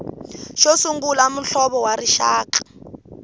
xo sungula muhlovo wa rixaka